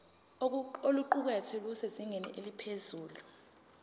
oluqukethwe lusezingeni eliphezulu